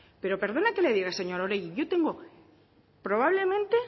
pero perdone que le diga señora oregi yo tengo probablemente